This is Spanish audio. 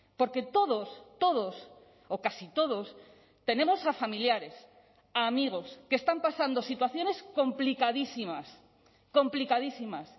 porque todos todos o casi todos tenemos a familiares a amigos que están pasando situaciones complicadísimas complicadísimas